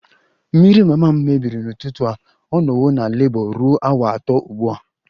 Mmiri mama m mebiri n'ụtụtụ a, ọ nọwo na Labour ruo awa atọ ugbu a